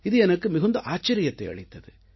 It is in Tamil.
இது எனக்கு மிகுந்த ஆச்சரியத்தை அளித்தது